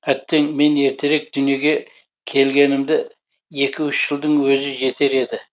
әттең мен ертерек дүниеге келгенімді екі үш жылдың өзі жетер еді